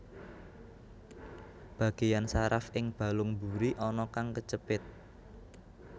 Bagéyan saraf ing balung mburi ana kang kecepit